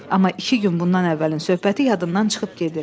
Amma iki gün bundan əvvəlin söhbəti yadından çıxıb gedir.